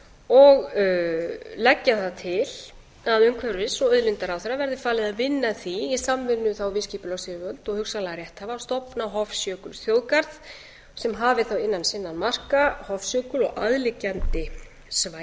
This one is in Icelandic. og leggja það til að umhverfis og auðlindaráðherra verði falið að vinna að því í samvinnu þá við skipulagsyfirvöld og hugsanlega rétthafa að stofna hofsjökulsþjóðgarð sem hafi þá innan sinna marka hofsjökul og aðliggjandi